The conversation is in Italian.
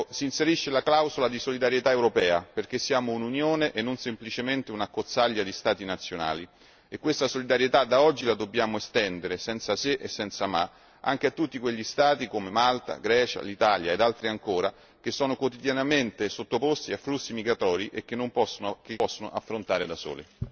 Si inserisce la clausola di solidarietà europea perché siamo un'Unione e non semplicemente un'accozzaglia di Stati nazionali e questa solidarietà da oggi la dobbiamo estendere, senza se e senza ma, anche a tutti quegli Stati come Malta, Grecia, Italia e altri ancora che sono quotidianamente sottoposti a flussi migratori che non possono affrontare da soli.